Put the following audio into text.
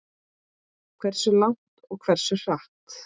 Hversu langt og hversu hratt.